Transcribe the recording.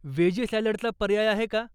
Veggie सॅलडचा पर्याय आहे का?